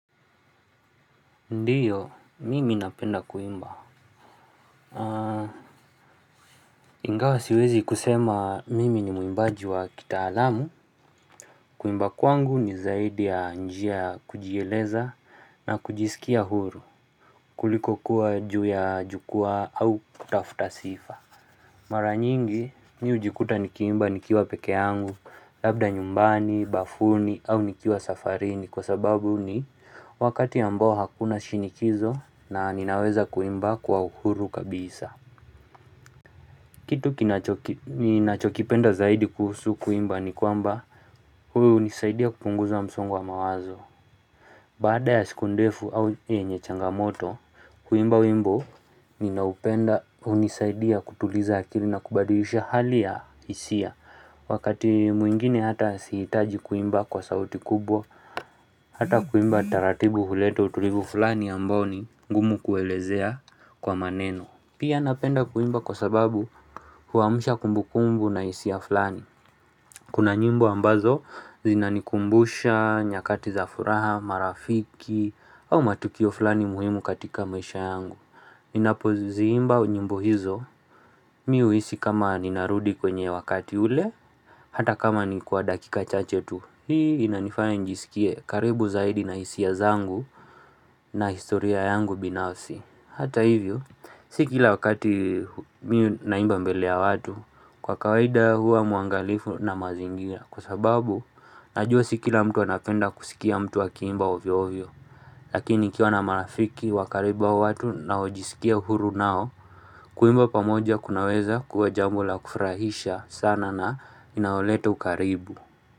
Ndiyo, mimi napenda kuimba Ingawa siwezi kusema mimi ni muimbaji wa kitaalamu Kuimba kwangu ni zaidi ya njia kujieleza na kujisikia huru kuliko kuwa juu ya jukwaa au kutafuta sifa Mara nyingi ni hujikuta nikiimba nikiwa pekee yangu Labda nyumbani, bafuni au nikiwa safarini Kwa sababu ni wakati ambao hakuna shinikizo na ninaweza kuimba kwa uhuru kabisa Kitu kinacho ninachokipenda zaidi kuhusu kuimba ni kwamba huunisaidia kupunguza msongo wa mawazo Baada ya siku ndefu au yenye changamoto kuimba wimbo ninaupenda hunisaidia kutuliza akili na kubadilisha hali ya hisia Wakati mwingine hata sihitaji kuimba kwa sauti kubwa, hata kuimba taratibu huleta utulivu fulani ambao ni gumu kuelezea kwa maneno. Pia napenda kuimba kwa sababu huamusha kumbukumbu na hisia fulani. Kuna nyimbo ambazo zinanikumbusha, nyakati za furaha, marafiki, au matukio fulani muhimu katika mwesha yangu. Ninapoziimba nyimbo hizo, mimi huhisi kama ninarudi kwenye wakati ule, hata kama ni kwa dakika chache tu Hii inanifanye nijisikie karibu zaidi na hisia zangu na historia yangu binafsi Hata hivyo, si kila wakati mi naimba mbele ya watu, kwa kawaida huwa mwangalifu na mazingia Kwa sababu, najua si kila mtu anapenda kusikia mtu akiimba ovyoovyo Lakini nikiwa na marafiki wa karibu wa watu naojisikia huru nao Kuimba pamoja kunaweza kuwa jambo la kufurahisha sana na inaloleta ukaribu.